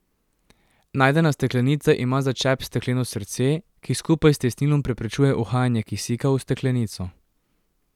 Najdena steklenica ima za čep stekleno srce, ki skupaj s tesnilom preprečuje uhajanje kisika v steklenico.